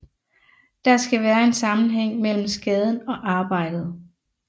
Der skal være en sammenhæng mellem skaden og arbejdet